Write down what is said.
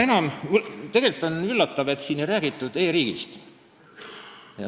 Tegelikult on üllatav, et siin ei räägitud üldse e-riigist.